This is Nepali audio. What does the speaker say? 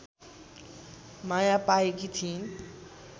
माया पाएकी थिइन्